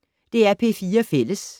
DR P4 Fælles